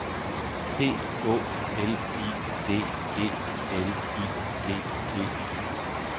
P Å L I D E L I G E